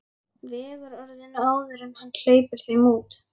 Vegur orðin áður en hann hleypir þeim út.